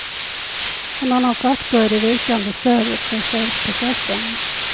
En annan faktor är det vikande stödet för fredsprocessen.